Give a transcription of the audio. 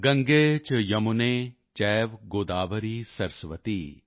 ਗੰਗੇ ਚ ਯਮੁਨੇ ਚੈਵ ਗੋਦਾਵਰੀ ਸਰਸਵਤੀ